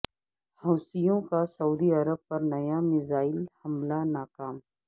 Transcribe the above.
حوثیوں کا سعودی عرب پر نیا میزائل حملہ ناکام